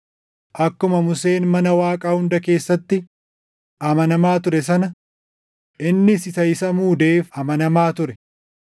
Akkuma Museen mana Waaqaa hunda keessatti amanamaa ture sana innis isa isa muudeef amanamaa ture.